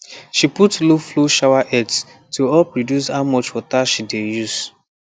she put lowflow showerheads to help reduce how much water she dey use